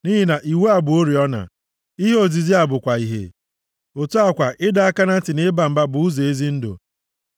Nʼihi na iwu a bụ oriọna, + 6:23 \+xt Abụ 119:105\+xt* Ihe ozizi a bụkwa ìhè, + 6:23 \+xt Abụ 19:8; 2Pt 1:19\+xt* otu a kwa ịdọ aka na ntị na ịba mba bụ ụzọ ezi ndụ,